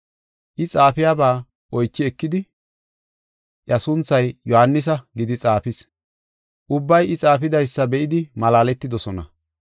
I xaafiyabaa oychi ekidi, “Iya sunthay Yohaanisa” gidi xaafis. Ubbay I xaafidaysa be7idi malaaletidosona.